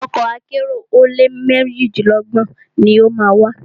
Ọkọ̀ akẹ́rò ọ̀ọ́dúnrún ó lé méjidínlọ́gbọ̀n ni o má a wà.